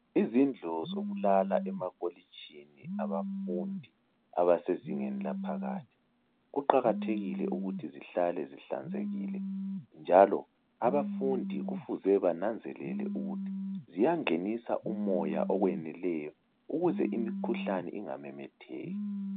Izindlu zokulala emakolijini abafundi abesezingeni laphakathi , kuqakathekile ukuthi zihlale zihlanzekile. Njalo abafundi Kufuze bananzelele ukuthi ziyangenisa umoya okweneleyo ukuze imikhuhlane ingamemetheki.